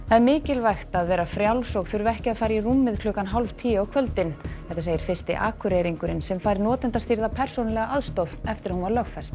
það er mikilvægt að vera frjáls og þurfa ekki að fara í rúmið klukkan hálf tíu á kvöldin þetta segir fyrsti Akureyringurinn sem fær notendastýrða persónulega aðstoð eftir að hún var lögfest